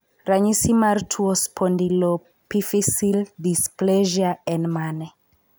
Ranyisi mar tuo Spondyloepiphyseal dysplasia? en mane?